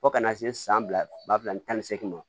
Fo ka na se san fila ba fila ani tan ni seegin ma